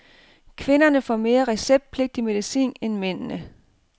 Kvinderne får mere receptpligtig medicin end mændene.